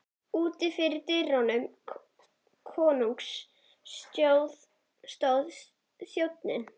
Úti fyrir dyrum konungs stóð þjónn.